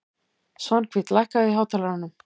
Svanhvít, lækkaðu í hátalaranum.